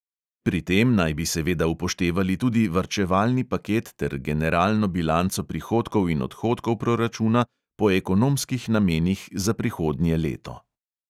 Pri tem naj bi seveda upoštevali tudi varčevalni paket ter generalno bilanco prihodkov in odhodkov proračuna po ekonomskih namenih za prihodnje leto.